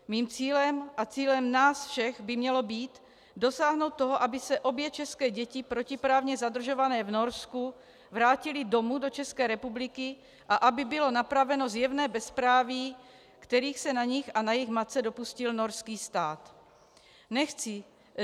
Mým cílem a cílem nás všech by mělo být dosáhnout toho, aby se obě české děti, protiprávně zadržované v Norsku, vrátily domů do České republiky a aby bylo napraveno zjevné bezpráví, kterého se na nich a na jejich matce dopustil norský stát.